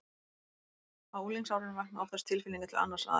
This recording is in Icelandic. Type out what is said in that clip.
Á unglingsárunum vakna oftast tilfinningar til annars aðila.